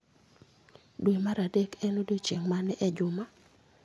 Dwe mar adek en odiechieng ' mane e juma?